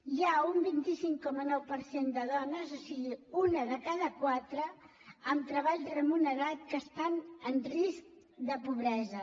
hi ha un vint cinc coma nou per cent de dones o sigui una de cada quatre amb treball remunerat que estan en risc de pobresa